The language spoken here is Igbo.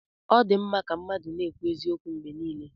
Ọ dị mma ka mmadụ na-ekwu eziokwu mgbe niile.